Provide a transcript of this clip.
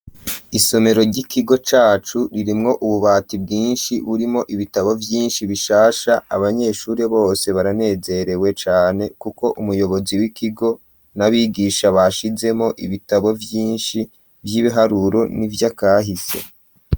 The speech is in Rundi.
Isomero ry'ikigo cacu ririmwo ububati bwinshi burimo ibitabo vyinshi bishasha abanyeshure bose baranezerewe cane kuko umuyobozi w'ikigo n'abigisha bashizemo ibitabo vyinshi vy'ibiharuro n'ivyakahise.